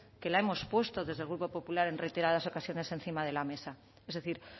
que la hemos puesto desde el grupo popular en reiteradas ocasiones encima de la mesa es decir